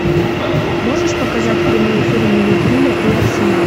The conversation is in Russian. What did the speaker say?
можешь показать прямой эфир ливерпуля и арсенал